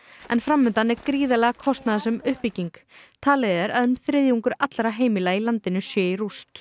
en fram undan er gríðarlega kostnaðarsöm uppbygging talið er að um þriðjungur allra heimila í landinu sé í rúst